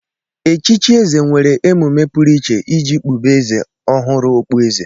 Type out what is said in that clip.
Echichi Eze nwere emume pụrụiche iji kpube Eze ọhụrụ okpu eze.